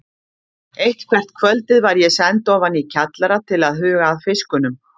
Eitthvert kvöldið var ég send ofan í kjallara til að huga að fiskunum.